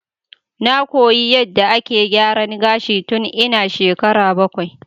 Na koyi yadda ake gyaran gashi tun ina shekara bakwai.